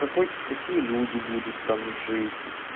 какой какие люди будут там жить